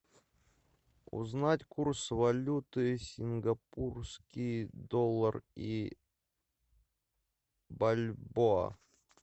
узнать курс валюты сингапурский доллар и бальбоа